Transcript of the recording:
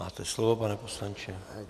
Máte slovo, pane poslanče.